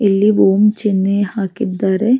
ಇಲ್ಲಿ ಓಂ ಚಿನ್ನೇ ಹಾಕಿದ್ದಾರೆ --